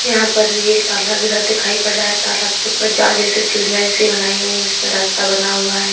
यहां पर भी एक तालाब जैसा दिखाई पड़ रहा है तालाब के ऊपर जाल जैसे सीढिया जैसी बनाई गईं जिसमें रास्ता बना हुआ है।